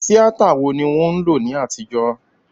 Tíátà wo ni wọ́n ń lò ní àtijó?